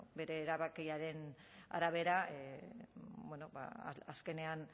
bueno bere erabakiaren arabera ba azkenean